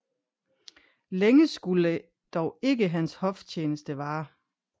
Længe skulde dog ikke hans hoftjeneste vare